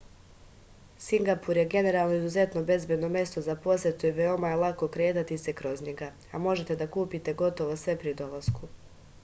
singapur je generalno izuzetno bezbedno mesto za posetu i veoma je lako kretati se kroz njega a možete da kupite gotovo sve pri dolasku